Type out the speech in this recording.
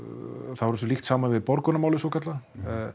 þá eru þessu líkt saman við Borgunarmálið svokallaða